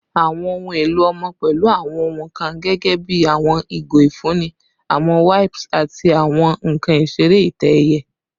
Awọn ohun elo ọmọ pẹlu awọn ohun kan gẹgẹbi awọn igo ifunni, awọn wipes, ati awọn nkan isere itẹ-ẹiyẹ